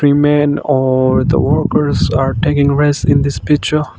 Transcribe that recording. the men or the workers are taking rest in this picture.